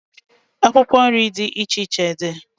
Akwụkwọ nri dị iche iche dị.